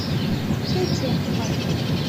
чай черный байховый